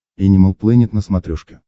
энимал плэнет на смотрешке